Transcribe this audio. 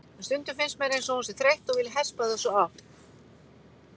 En stundum finnst mér eins og hún sé þreytt og vilji hespa þessu af.